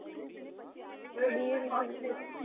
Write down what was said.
BA with english